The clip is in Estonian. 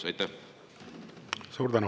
Suur tänu!